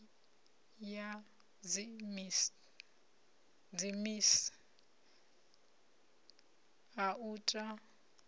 ya dziminis a u ta